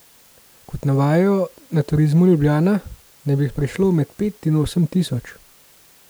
Kot navajajo na Turizmu Ljubljana, naj bi jih prišlo med pet in osem tisoč.